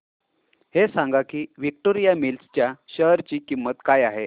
हे सांगा की विक्टोरिया मिल्स च्या शेअर ची किंमत काय आहे